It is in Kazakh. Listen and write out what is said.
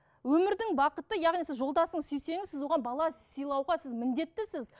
өмірдің бақыты яғни сіз жолдасыңызды сүйсеңіз сіз оған бала сыйлауға сіз міндеттісіз